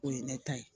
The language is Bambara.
O ye ne ta ye